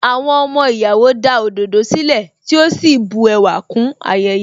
Àwọn ọmọ ìyàwó da òdòdó sílẹ̀, tí ó sì bu ẹwà kún ayẹyẹ.